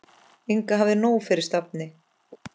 Inga hafði nóg fyrir stafni.